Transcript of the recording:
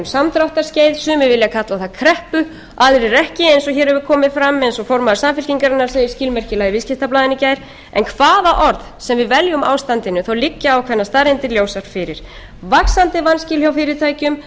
samdráttarskeið sumir vilja kalla það kreppu aðrir ekki eins og hér hefur komið fram eins og formaður samfylkingarinnar segir skilmerkilega í viðskiptablaðinu í gær en hvaða orð háttvirts við veljum ástandinu liggja ákveðnar staðreyndir ljósar fyrir vaxandi vanskil hjá fyrirtækjum